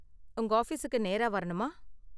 உங்க ஆஃபீஸுக்கு நேரா வரணுமா?